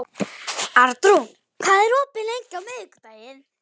Arnrún, hvað er opið lengi á miðvikudaginn?